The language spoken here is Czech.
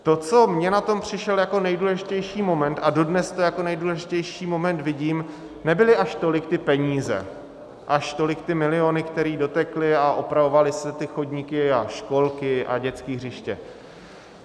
To, co mně na tom přišlo jako nejdůležitější moment, a dodnes to jako nejdůležitější moment vidím, nebyly až tolik ty peníze, až tolik ty miliony, které dotekly, a opravovaly se ty chodníky a školky a dětská hřiště.